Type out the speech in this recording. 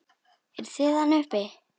Eruð þið þarna uppi!